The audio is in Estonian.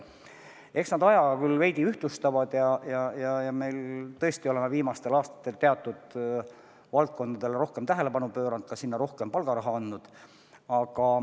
Eks nad ajaga küll veidi ühtlustuvad ja me tõesti oleme viimastel aastatel teatud valdkondadele rohkem tähelepanu pööranud, ka sinna rohkem palgaraha andnud.